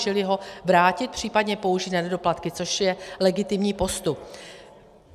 Čili ho vrátit, případně použít na nedoplatky, což je legitimní postup.